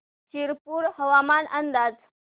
शिरपूर हवामान अंदाज